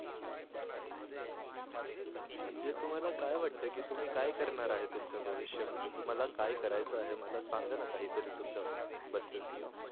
म्हणजे तुम्हाला काय वाटत की तुम्ही काय करणार आहे तुमच्या भविष्य मध्ये तुम्हाला तुम्हाला काय करायच आहे सांगा ना काही तरी तुमच्या बद्दल?